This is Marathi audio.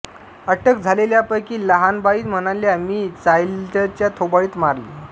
अटक झालेल्यांपैकी लहानबाई म्हणाल्या मी चायलच्या थोबाडीत मारली